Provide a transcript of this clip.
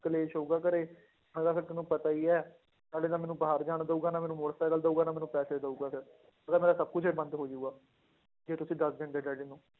ਕਲੇਸ਼ ਹੋਊਗਾ ਘਰੇ ਮੈਂ ਕਿਹਾ ਫਿਰ ਤੁਹਾਨੂੰ ਪਤਾ ਹੀ ਹੈ, ਨਾਲੇ ਨਾ ਮੈਨੂੰ ਬਾਹਰ ਜਾਣ ਦਊਗਾ, ਨਾ ਮੈਨੂੰ ਮੋਟਰ ਸਾਈਕਲ ਦਊਗਾ, ਨਾ ਮੈਨੂੰ ਪੈਸੇ ਦਊਗਾ ਫਿਰ ਮੈਂ ਕਿਹਾ ਮੇਰਾ ਸਭ ਕੁਛ ਹੀ ਬੰਦ ਹੋ ਜਾਊਗਾ, ਜੇ ਤੁਸੀਂ ਦੱਸ ਦਿੰਦੇ ਡੈਡੀ ਨੂੰ